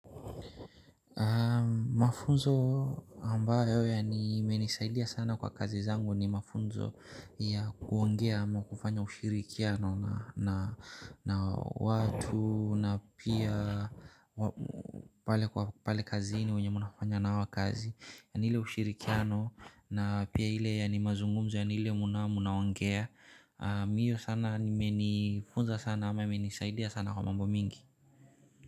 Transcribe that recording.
Mafunzo ambayo ya nimenisaidia sana kwa kazi zangu ni mafunzo ya kuongea ama kufanya ushirikiano na watu na pia pale kwa pale kazini wenye munafanya nao wakazi ya ni ile ushirikiano na pia hile yani mazungumzo yani ile muna munaongea ni hiyo sana imefunza sana ama imenisaidia sana kwa mambo mingi.